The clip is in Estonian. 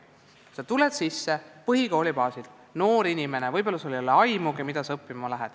Noor inimene tuleb põhikooli baasil, tal võib-olla ei ole aimugi, mida ta õppima läheb.